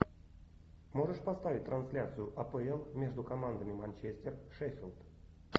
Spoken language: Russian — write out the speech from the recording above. можешь поставить трансляцию апл между командами манчестер шеффилд